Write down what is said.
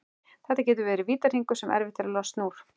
Þetta getur orðið vítahringur sem erfitt er að losna úr.